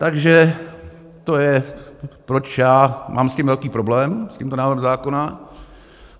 Takže to je, proč já mám s tím velký problém, s tímto návrhem zákona.